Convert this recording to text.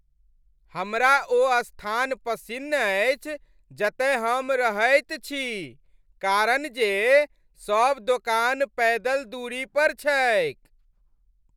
हमरा ओ स्थान पसिन्न अछि जतय हम रहैत छी कारण जे सभ दोकान पैदल दूरी पर छैक ।